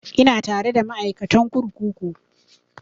Ina tare da ma'aikatan kurkuku